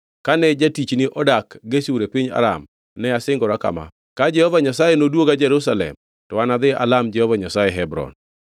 Kane jatichni odak Geshur e piny Aram, ne asingora kama: ‘Ka Jehova Nyasaye noduoga Jerusalem, to anadhi alam Jehova Nyasaye Hebron.’ ”